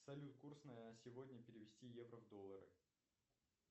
салют курс на сегодня перевести евро в доллары